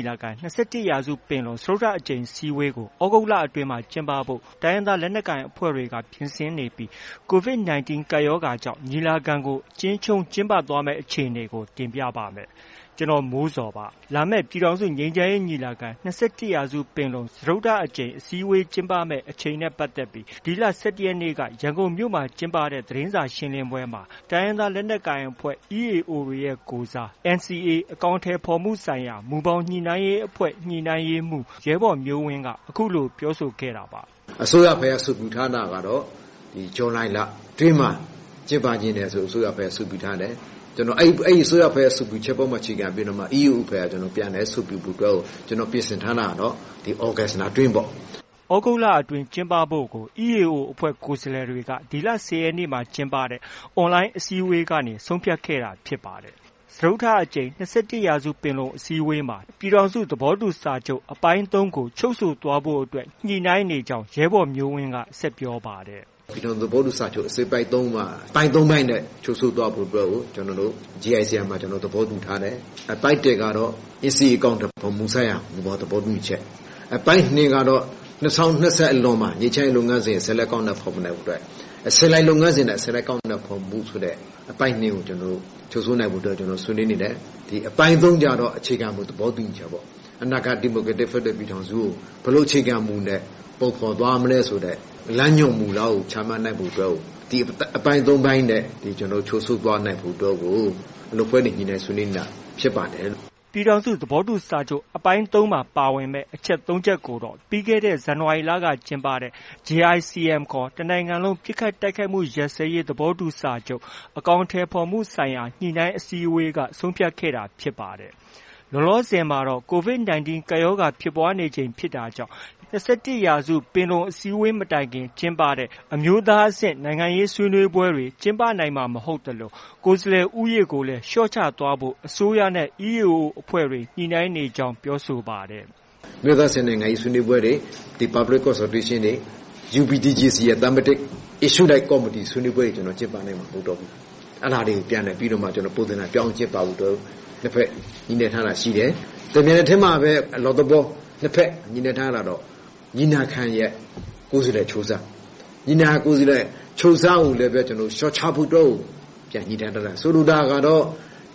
ီလာခံ - ၂၁ရာစုပင်လုံ စတုတ္တအကြိမ် အစည်းအဝေးကို သြဂုတ်လအတွင်းမှာ ကျင်းပဖို့ တိုင်းရင်းသားလက်နက်ကိုင်အဖွဲ့တွေက ပြင်ဆင်နေပြီး COVID- 19 ကပ်ရောဂါကြောင့် ညီလာခံကို အကျဉ်းချုံးကျင်းပသွားမယ့်အခြေအနေကို ကိုမိုးဇော် တင်ပြပါမယ်။ လာမယ့် ပြည်ထောင်စုငြိမ်းချမ်းရေးညီလာခံ - ၂၁ရာစုပင်လုံ စတုတ္တအကြိမ် အစည်းအဝေးကျင်းပမယ့် အချိန်နဲ့ ပတ်သက်ပြီး ဒီလ ၁၁ရက်နေ့ ရန်ကုန်မှာ ကျင်းပတဲ့ သတင်းစာရှင်းလင်းပွဲမှာ တိုင်းရင်းသား လက်နက်ကိုင်အဖွဲ့ EAO တွေရဲ့ကိုယ်စား NCA အကောင်အထည်ဖော်မှုဆိုင်ရာ မူဘောင်ညှိနှိုင်းရေးအဖွဲ့ ညှိနှိုင်းရေးမှုး ရဲဘော်မျိုးဝင်းက အခုလို ပြောဆိုခဲ့တာပါ။ “ အစိုးရဘက်က အဆိုပြုထားတာကတော့ ဇူလိုင်လအတွင်းမှာ ကျင်းပချင်တယ်ဆိုပြီး အစိုးရဘက်က အဆိုပြုထားတယ်။ အစိုးရဘက်က အဆိုပြုချက်ပေါ်မှာ အခြေခံပြီးမှ EAO ပြန်လည်အဆိုပြုဖို့အတွက်ကို ကျနော်တို့ ပြင်ဆင်ထားတာကတော့ ဒီ သြဂုတ်လအတွင်းပေါ့။” သြဂုတ်လအတွင်းကျင်းပဖို့ကို EAOအဖွဲ့ ကိုယ်စားလှယ်တွေဟာ ဒီလ ၁၀ရက်နေ့က ကျင်းပတဲ့ online အစည်းအဝေးကနေ ဆုံးဖြတ်ခဲ့တာဖြစ်ပါတယ်။ စတုတ္တအကြိမ် ၂၁ရာစုပင်လုံအစည်းအဝေးမှာ ပြည်ထောင်စုသဘောတူစာချုပ် အပိုင်း ၃ကို ချုပ်ဆိုသွားဖို့အတွက် ညှိနှိုင်နေကြောင်း ရဲဘော်မျိုးဝင်းက ဆက်ပြောပါတယ်။ “ ပြည်ထောင်စုသဘောတူစာချုပ် ချုပ်ဆိုနိုင်ဖို့အတွက်ကို အပိုင်း ၃ပိုင်းနဲ့ ချုပ်ဆိုသွားဖို့အတွက်ကို ကျနော်တို့ JICM မှာ သဘောတူထားတယ်။ အပိုင်း၁ကတော့ NCA အကောင်အထည်ဖော်မှုဆိုင်ရာ မူဘောင်သဘောတူညီချက်။ အပိုင်း ၂က တော့ ၂၀၂၀ အလွန်မှာ ငြိမ်းချမ်းရေးလုပ်ငန်းစဉ် ဆက်လက် အကောင်အထည်ဖော်နိုင်ဖို့အတွက် အဆင့်လိုက်လုပ်ငန်းစဉ်နဲ့ အဆင့်လိုက်အကောင်အထည်ဖော်မှုဆိုတဲ့ အပိုင်း ၂ကို ချုပ်ဆိုနိုင်ဖို့ ဆွေးနွေးနေတယ်။ အပိုင်း ၃ကျတော့ အခြေခံမူ သဘောတူညီချက်ပေါ့။ အနာဂတ်ဒီမိုကရေစီဖက်ဒရယ်ပြည်ထောင်စုကို ဘယ်လို အခြေခံမူနဲ့ ပုံဖော်သွားမလဲဆိုတဲ့ လမ်းညွှန်မှုများကို ချမှတ်နိုင်ဖို့အတွက် ဒီအပိုင်း၃ပိုင်းနဲ့ ချုပ်ဆိုသွားနိုင်ဖို့ကို အလုပ်အဖွဲ့တွေ ညှိနှိုင်းနေတာဖြစ်ပါတယ်။” ပြည်ထောင်စုသဘောတူစာချုပ် အပိုင်း ၃မှာ ပါဝင်မယ့် အချက် ၃ချက်ကိုတော့ ပြီးခဲ့တဲ့ ဇန်နဝါရီလက ကျင်းပတဲ့ JICM ခေါ် တစ်နိုင်ငံလုံး ပစ်ခတ်တိုက်ခိုက်မှုရပ်စဲရေး သဘောတူစာချုပ် အကောင်အထည်ဖော်မှုဆိုင်ရာ ညှိနှိုင်းအစည်းအဝေးက ဆုံးဖြတ်ခဲ့တာဖြစ်ပါတယ်။ လောလောဆည်မှာတော့ COVID- 19 ကပ်ရောဂါ ဖြစ်ပွားနေချိန်ဖြစ်တာကြောင့် ၂၁ရာစုပင်လုံအစည်းအဝေး မတိုင်ခင်ကျင်းပတဲ့ အမျိုးသားအဆင့် နိုင်ငံရေးဆွေးနွေးပွဲတွေ ကျင်းပနိုင်မှာ မဟုတ်သလို ကိုယ်စားလှယ် ဦးရေကိုလည်း လျော့ချသွားဖို့ အစိုးရနဲ့ EAO အဖွဲ့တွေ ညှိနှိုင်းနေကြောင်းလည်း ပြောဆိုပါတယ်။ “အမျိုးသားအဆင့် နိုင်ငံရေးဆွေးနွေးပွဲတွေ၊ Public Consultation ဆွေးနွေးပွဲတွေ၊ UPDJC သတ်မှတ်တဲ့ Issue အလိုက်ဆွေးနွေးပွဲတွေ ကျနော်တို့ ကျင်းပနိုင်မှာ မဟုတ်တော့ဘူး။ အဲဒါတွေကို ပုံသဏ္ဍာန်ပြောင်း ကျင်းပဖို့အတွက် နှစ်ဘက်ညှိနှိုင်းထားတာရှိတယ်။ တပြိုင်နက်တည်းမှာပဲ အလွတ်သဘော နှစ်ဘက် ညှိနှိုင်း ထားတာကတော့ ညီလာခံရဲ့ ကိုယ်စားလှယ်အချိုးအစား၊ ညီလာခံ ကိုယ်စားလှယ်အချိုးအစားကိုလည်း ကျနော်တို့ လျော့ချဖို့ ပြန်ညှိနှိုင်းထားတာ။ ဆိုလိုတာကတော့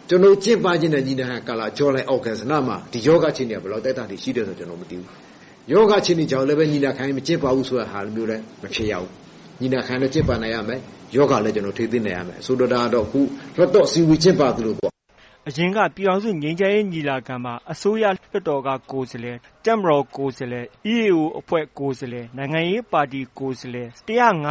ကျနော်တို့ကျင်းပမယ့် ညီလာခံကာလ ဇူလိုင်၊ သြဂုတ်လမှာ ဒီရောဂါအခြေအနေက ဘယ်လောက် အတိုင်းအတာထိ ရှိမယ်ဆိုတာ မသိဘူး။ ရောဂါအခြေအနေကြောင့် ညီလာခံ မကျင်းပဘူးဆိုတာလည်း မဖြစ်ရဘူး။ ညီလာခံလည်း ကျင်းပနိုင်ရမယ်။ ရောဂါလည်း ထိန်းသိမ်းနိုင်ရမယ်။ ဆိုလိုတာကတော့ လွှတ်တော်အစည်းအေ ဝးကျင်းပသလိုပေါ့။” အရင် ပြည်ထောင်စုငြိမ်းချမ်းရေးညီလာခံမှာ အစိုးရ၊လွှတ်တော်က ကိုယ်စားလှယ်၊တပ်မတော် ကိုယ်စားလှယ်၊ EAO ကိုယ်စားလှယ်၊ နိုင်ငံရေးပါတီကိုယ်စားလှယ် ၁၅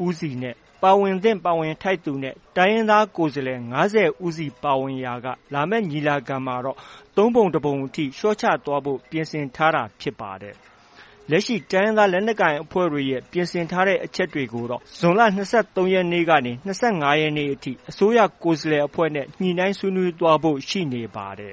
၀ စီ၊ ပါဝင်သင့်ပါဝင်ထိုက်သူနဲ့ တိုင်းရင်းသားကိုယ်စားလှယ် ၅၀စီပါဝင်ရာက လာမယ့် ညီလာခံမှာတော့ ၃ပုံ ၁ပုံအထိ လျော့ချသွားဖို့ ပြင်ဆင်ထားတာဖြစ်ပါတယ်။ လက်ရှိ တိုင်းရင်းသားလက်နက်ကိုင်အဖွဲ့တွေရဲ့ ပြင်ဆင်ထားတဲ့အချက်တွေကိုတော့ ဇွန်လ ၂၃ရက်နေ့ကနေ ၂၅ရက်နေ့အထိ အစိုးရကိုယ်စားလှယ်အဖွဲ့နဲ့ ညှိနှိုင်းသွားဖို့ ရှိနေပါတယ်